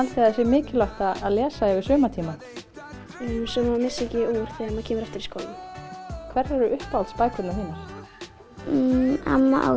það sé mikilvægt að lesa yfir sumartímann svo maður missi ekki úr þegar maður kemur aftur í skólann hverjar eru uppáhalds bækurnar þínar amma